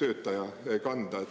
töötaja kanda.